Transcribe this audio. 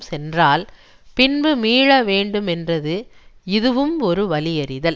சென்றால் பின்பு மீள வேண்டுமென்றது இதுவும் ஒரு வலியறிதல்